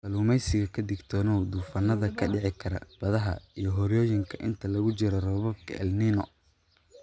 Kalluumeysiga Ka digtoonow duufaannada ka dhici kara badaha iyo harooyinka inta lagu jiro roobabka El Niño.